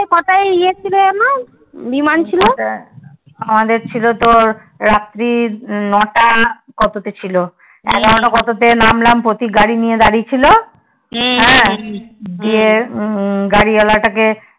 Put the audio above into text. আমাদের ছিল তোর রাত্রি নটা না কত তে ছিল এগারোটা কত তে নামলাম প্রতীক গাড়ি নিয়ে দাঁড়িয়েছিল হ্যাঁ গিয়ে গাড়ি ওয়ালা তা কে